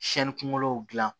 kungolow gilan